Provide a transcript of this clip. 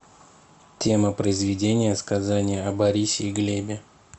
тема произведения сказание о борисе и глебе